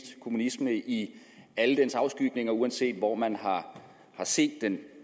kommunisme i alle dens afskygninger uanset hvor man har set den